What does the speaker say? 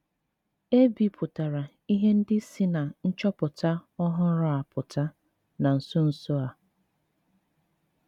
E bipụtara ihe ndị si ná nchọpụta ọhụrụ a pụta na nso nso a.